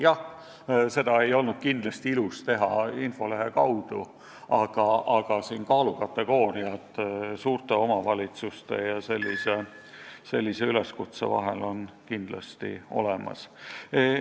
Jah, seda ei olnud kindlasti ilus teha infolehe kaudu, aga omavalitsuste puhul on kindlasti tegu erinevate kaalukategooriatega ja ka erineva sihiga tehtud üleskutsetega.